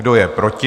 Kdo je proti?